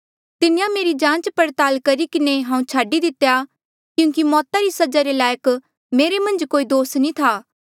तिन्हें मेरी जांच पड़ताल करी किन्हें हांऊँ छाडी दितेया क्यूंकि मौता री सजा रे लायक मेरे मन्झ कोई दोस नी था